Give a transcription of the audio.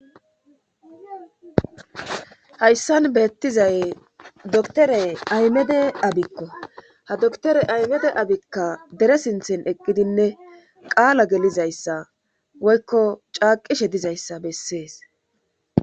Hayssan beettizay dotore aymede abikko ha doktore aymede abikka dere sinthen eqqidinne qaala gelizayssa woykko caaqishe dizayssa bessees.